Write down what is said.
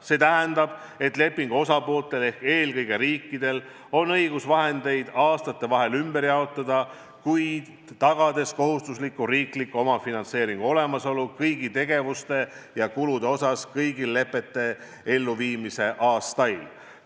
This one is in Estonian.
See tähendab, et lepingu pooltel ehk eelkõige riikidel on õigus vahendeid aastate vahel ümber jaotada, kuid nad peavad tagama kohustusliku riikliku omafinantseeringu olemasolu kõigi tegevuste ja kulude osas kõigil lepete täitmise aastail.